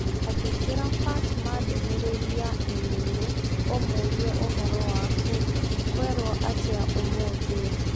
Andĩkĩra Fatma ndũmĩrĩri ya i-mīrū ũmũũrie ũhoro waku, kwerũo atĩa ũmũthĩ?